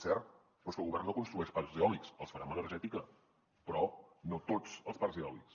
cert però és que el govern no construeix parcs eòlics els farà amb energètica però no tots els parcs eòlics